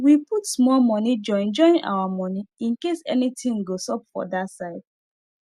we put small money join join our money incase anything go sup for that side